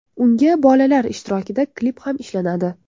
Unga bolalar ishtirokida klip ham ishlanadi.